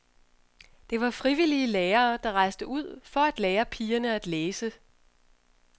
Det var frivillige lærere, der rejste ud for at lære pigerne at læse.